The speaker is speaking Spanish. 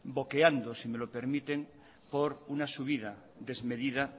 boqueando si me lo permiten por una subida desmedida